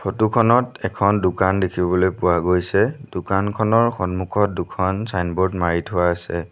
Photo খনত এখন দোকান দেখিবলৈ পোৱা গৈছে দোকানখনৰ সন্মুখত দুখন ছাইনবোৰ্ড মাৰি থোৱা আছে।